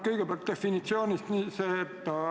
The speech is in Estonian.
Kõigepealt definitsioonist.